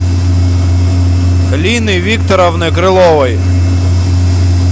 лины викторовны крыловой